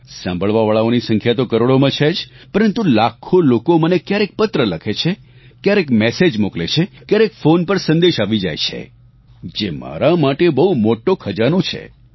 સાંભળવાવાળાઓની સંખ્યા તો કરોડોમાં છે જ પરંતુ લાખો લોકો મને ક્યારેક પત્ર લખે છે ક્યારેક મેસેજ મોકલે છે ક્યારેક ફોન પર સંદેશ આવી જાય છે જે મારા માટે બહુ મોટો ખજાનો છે